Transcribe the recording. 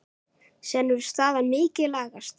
Síðan hefur staðan mikið lagast.